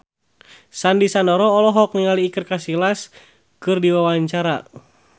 Sandy Sandoro olohok ningali Iker Casillas keur diwawancara